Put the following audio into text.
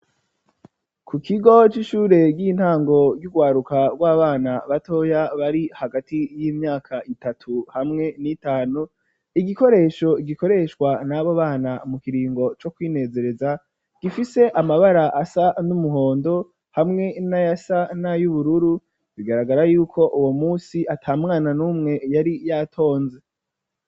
Ku kigo c'ishure ry'intango ry'urwaruka rw'abana batoya bari hagati y'imyaka itatu hamwe n'itanu igikoresho gikoreshwa n'abo bana mu kiringo co kwinezereza gifise amabara asa n'umuhondo hamwe na ya sa na y'ubururu bigaragara yuko uwo musi ata mwana n'umwe yari yatonze.